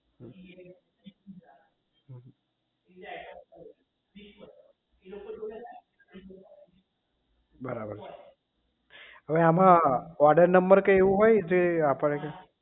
બરાબર છે અવે આમાં order number કે એવું હોય જે આપે છે